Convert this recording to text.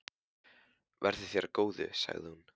Verði þér að góðu, sagði hún.